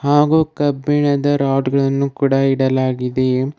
ಹಾಗು ಕಬ್ಬಿಣದ ರಾಡ್ ಗಳನ್ನು ಕೂಡ ಇಡಲಾಗಿದೆ.